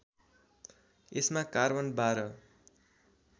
यसमा कार्बन १२